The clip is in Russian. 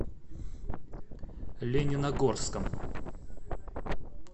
лениногорском